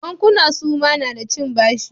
Bankuna suma na da cin bashi?